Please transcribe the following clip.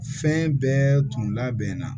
Fɛn bɛɛ tun labɛnna